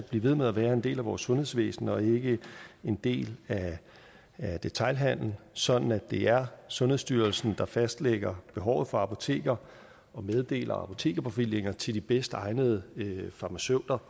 blive ved med at være en del af vores sundhedsvæsen og ikke en del af detailhandelen sådan at det er sundhedsstyrelsen der fastlægger behovet for apoteker og meddeler apotekerbevillinger til de bedst egnede farmaceuter